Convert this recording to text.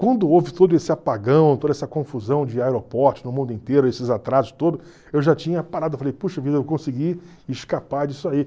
Quando houve todo esse apagão, toda essa confusão de aeroportos no mundo inteiro, esses atrasos todos, eu já tinha parado e falei, puxa vida, eu consegui escapar disso aí.